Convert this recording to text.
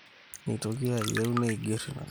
Neitoki ayeu neiger inakata.